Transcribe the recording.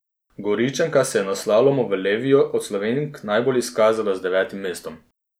Goričanka se je na slalomu v Leviju od Slovenk najbolj izkazala z devetim mestom.